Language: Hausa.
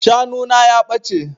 Shanu na ya ɓace.